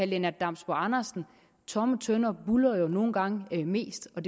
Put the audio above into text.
lennart damsbo andersen tomme tønder buldrer jo nogle gange mest og